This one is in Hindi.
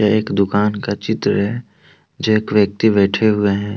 ये एक दुकान का चित्र है जो एक व्यक्ति बैठे हुए हैं।